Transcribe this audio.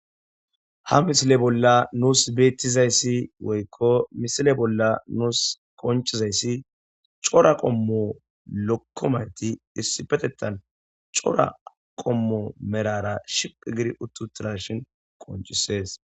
ha misile bolla nuus beettizayssi woykko misile bolla nuus konchizayssi cora qommo lokkomayti issi patettan cora qommo merara shiqi gir uttutirashin qonchisees